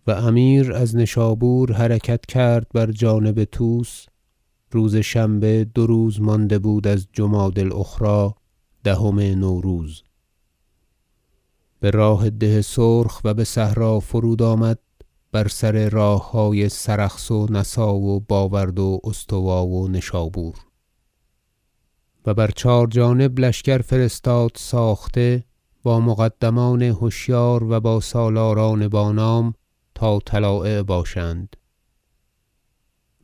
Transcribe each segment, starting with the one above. قحط و پریشانی و امیر از نشابور حرکت کرد بر جانب طوس روز شنبه دو روز مانده بود از جمادی الأخری دهم نوروز به راه ده سرخ و بصحرا فرود آمد بر سر راههای سرخس و نسا و باورد و استوا و نشابور و بر چهار جانب لشکر فرستاد ساخته با مقدمان هشیار و با سالاران با نام تا طلایع باشند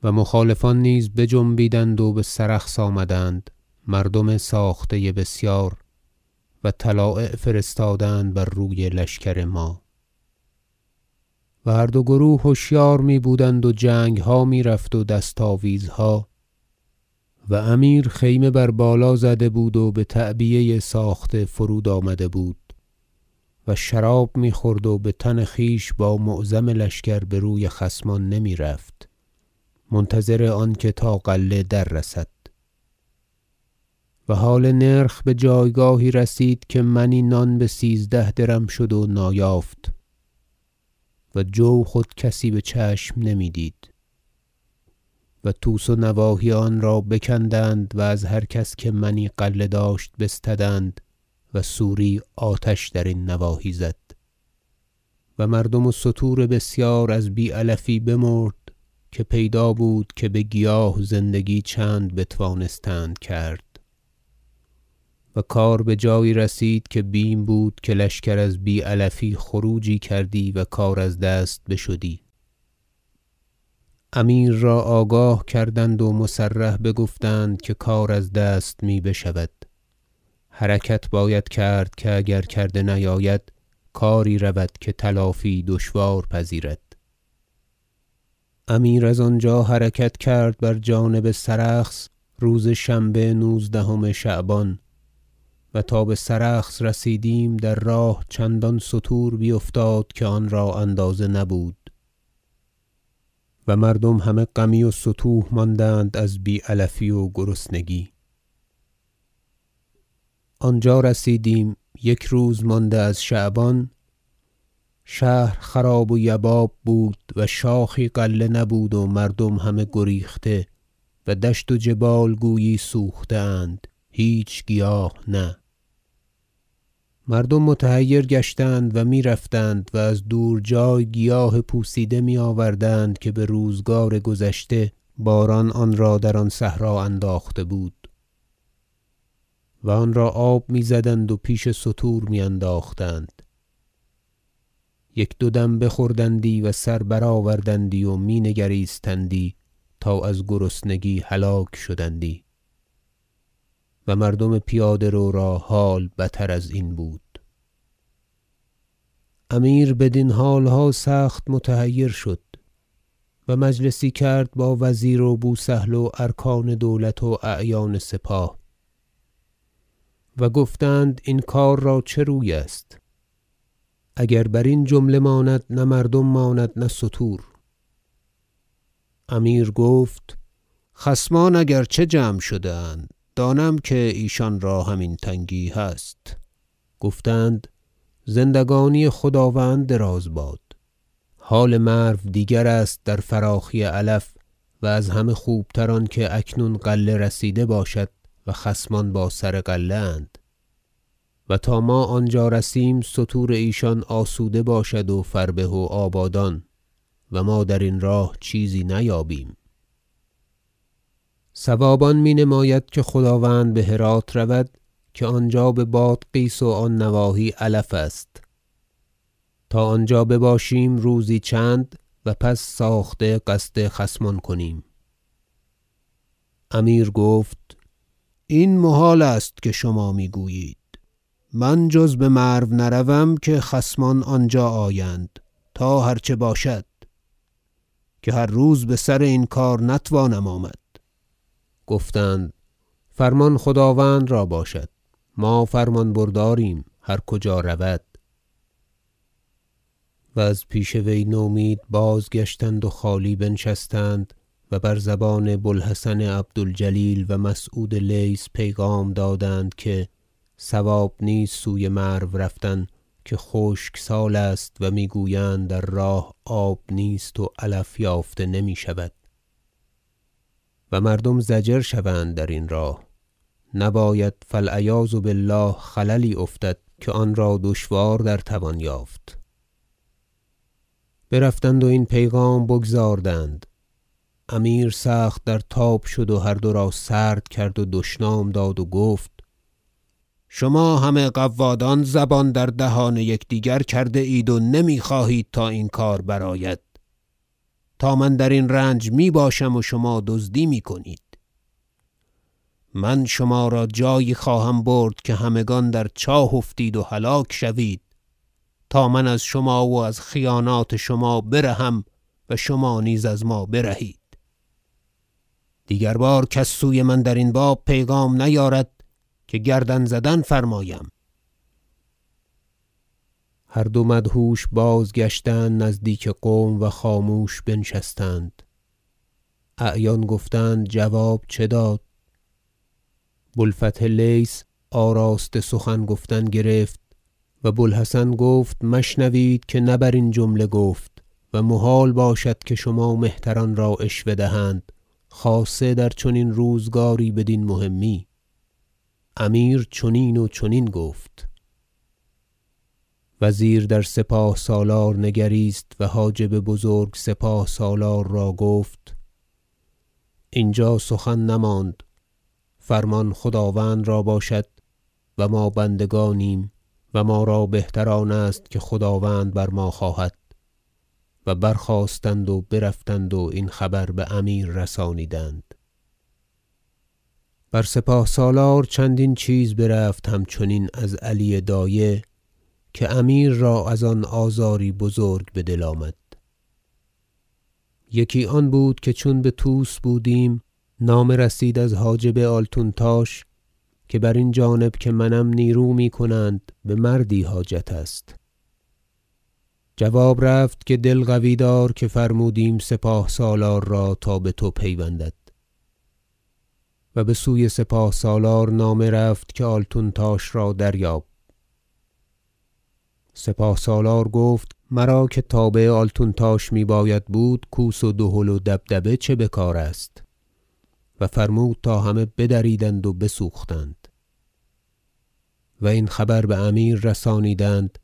و مخالفان نیز بجنبیدند و بسرخس آمدند مردم ساخته بسیار و طلایع فرستادند بر روی لشکر ما و هر دو گروه هشیار میبودند و جنگها میرفت و دست آویزها و امیر خیمه بر بالا زده بود و به تعبیه ساخته فرود آمده بود و شراب میخورد و بتن خویش با معظم لشکر بروی خصمان نمیرفت منتظر آن که تا غله در رسد و حال نرخ بجایگاهی رسید که منی نان بسیزده درم شد و نایافت و جو خود کسی بچشم نمیدید و طوس و نواحی آن را بکندند و از هر کس که منی غله داشت بستدند و سوری آتش درین نواحی زد و مردم و ستور بسیار از بی علفی بمرد که پیدا بود که بگیاه زندگی چند بتوانستند کرد و کار بجایی رسید که بیم بود که لشکر از بی علفی خروجی کردی و کار از دست بشدی امیر را آگاه کردند و مصرح بگفتند که کار از دست می بشود حرکت باید کرد که اگر کرده نیاید کاری رود که تلافی دشوار پذیرد امیر از آنجا حرکت کرد بر جانب سرخس روز شنبه نوزدهم شعبان و تا بسرخس رسیدیم در راه چندان ستور بیفتاد که آنرا اندازه نبود و مردم همه غمی و ستوه ماندند از بی علفی و گرسنگی آنجا رسیدیم در راه چندان ستور بیفتاده یک روز مانده از شعبان شهر خراب و یباب بود و شاخی غله نبود و مردم همه گریخته و دشت و جبال گویی سوخته اند هیچ گیاه نه مردم متحیر گشتند و میرفتند و از دور جای گیاه پوسیده میآوردند که به روزگار گذشته باران آنرا در صحرا انداخته بود و آنرا آب میزدند و پیش ستور میانداختند یک دو دم بخوردندی و سر برآوردندی و می نگریستندی تا از گرسنگی هلاک شدندی و مردم پیاده رو را حال بتر ازین بود امیر بدین حالها سخت متحیر شد و مجلسی کرد با وزیر و بو سهل و ارکان دولت و اعیان سپاه و گفتند این کار را چه روی است اگر برین جمله ماند نه مردم ماند نه ستور امیر گفت خصمان اگر چه جمع شده اند دانم که ایشان را هم این تنگی هست گفتند زندگانی خداوند دراز باد حال مرو دیگر است در فراخی علف و از همه خوبتر آنکه اکنون غله رسیده باشد و خصمان با سر غله اند و ما تا آنجا رسیم ستور ایشان آسوده باشد و فربه و آبادان و ما در این راه چیزی نیابیم صواب آن می نماید که خداوند بهرات رود که آنجا ببادغیس و آن نواحی علف است تا آنجا بباشیم روزی چند و پس ساخته قصد خصمان کنیم امیر گفت این محال است که شما میگویید من جز بمرو نروم که خصمان آنجا آیند تا هر چه باشد که هر روز بسر این کار نتوانم آمد گفتند فرمان خداوند را باشد ما فرمان برداریم هر کجا رود و از پیش وی نومید بازگشتند و خالی بنشستند و بر زبان بو الحسن عبد الجلیل و مسعود لیث پیغام دادند که صواب نیست سوی مرو رفتن که خشک سال است و میگویند در راه آب نیست و علف یافته نمیشود و مردم ضجر شوند درین راه نباید فالعیاذ بالله خللی افتد که آنرا دشوار در توان یافت برفتند و این پیغام بگزاردند امیر سخت در تاب شد و هر دو را سرد کرد و دشنام داد و گفت شما همه قوادان زبان در دهان یکدیگر کرده اید و نمی خواهید تا این کار برآید تا من درین رنج می باشم و شما دزدی می کنید من شما را جایی خواهم برد که همگان در چاه افتید و هلاک شوید تا من از شما و از خیانات شما بر هم و شما نیز از ما برهید دیگر بار کس سوی من درین باب پیغام نیارد که گردن زدن فرمایم هر دو مدهوش بازگشتند نزدیک قوم و خاموش بنشستند اعیان گفتند جواب چه داد بو الفتح لیث آراسته سخن گفتن گرفت و بو الحسن گفت مشنوید که نه برین جمله گفت و محال باشد که شما مهتران را عشوه دهند خاصه در چنین روزگاری بدین مهمی امیر چنین و چنین گفت وزیر در سپاه سالار نگریست و حاجب بزرگ سپاه سالار را گفت اینجا سخن نماند فرمان خداوند را باشد و ما بندگانیم و ما را بهتر آن است که خداوند بر ما خواهد و برخاستند و برفتند و این خبر بامیر رسانیدند بر سپاه سالار چندین چیز برفت همچنین از علی دایه که امیر را از آن آزاری بزرگ بدل آمد یکی آن بود که چون بطوس بودیم نامه رسید از حاجب آلتونتاش که برین جانب که منم نیرو میکنند و بمردی حاجت است جواب رفت که دل قوی دار که فرمودیم سپاه سالار را تا بتو پیوندد و بسوی سپاه سالار نامه رفت که آلتونتاش را دریاب سپاه سالار گفت مرا که تابع آلتونتاش میباید بود کوس و دهل و دبدبه چه بکار است و فرمود تا همه بدریدند و بسوختند و این خبر بامیر رسانیدند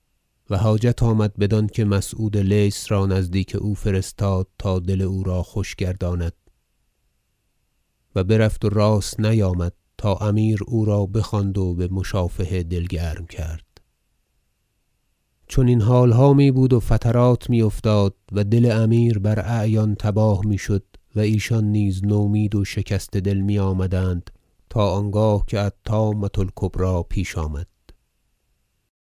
و حاجت آمد بدانکه مسعود لیث را نزدیک او فرستاد تا دل او را خوش گرداند و برفت و راست نیامد تا امیر او را بخواند و بمشافهه دل گرم کرد چنین حالها میبود و فترات می افتاد و دل امیر براعیان تباه میشد و ایشان نیز نومید و شکسته دل میآمدند تا آنگاه که الطامة الکبری پیش آمد